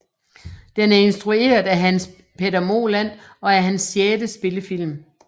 Den er instrueret af Hans Petter Moland og er hans sjette spillefilm